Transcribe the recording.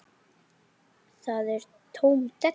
Það er tóm della.